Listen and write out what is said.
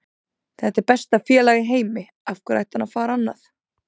Þetta er besta félag í heimi, af hverju ætti hann að fara annað?